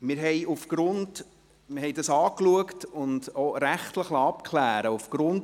Wir haben dies angeschaut und auch rechtlich abklären lassen.